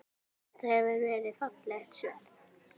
Þetta hefur verið fallegt sverð?